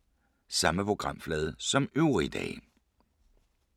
Samme programflade som øvrige dage